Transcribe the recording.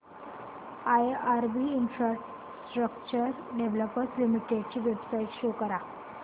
IRB infrastructure developers limited ची website show करा